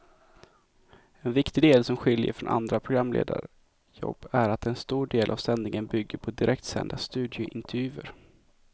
En viktig del som skiljer från andra programledarjobb är att en stor del av sändningen bygger på direktsända studiointervjuer.